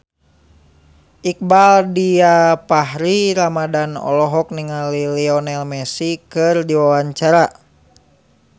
Iqbaal Dhiafakhri Ramadhan olohok ningali Lionel Messi keur diwawancara